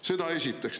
Seda esiteks.